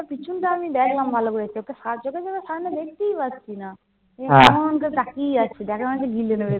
পিছনটা আমি দেখলাম ভালো করে। চোখের সামনে দেখতেই পাচ্ছি না। এমন করে তাকিয়ে আছে, যেন মনে হচ্ছে গিলে নেবে।